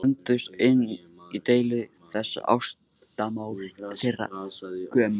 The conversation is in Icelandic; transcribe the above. Blönduðust og inn í deilu þessa ástamál þeirra gömul.